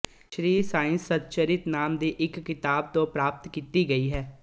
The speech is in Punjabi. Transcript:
ਸ਼੍ਰੀ ਸਾਈ ਸਤਚਰਿਤ ਨਾਮ ਦੀ ਇੱਕ ਕਿਤਾਬ ਤੋਂ ਪ੍ਰਾਪਤ ਕੀਤੀ ਗਈ ਹੈ